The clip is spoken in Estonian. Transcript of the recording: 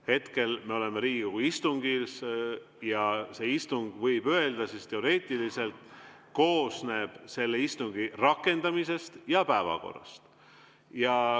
Hetkel me oleme Riigikogu istungil ja see istung, võib öelda teoreetiliselt, koosneb selle istungi rakendamisest ja päevakorrast.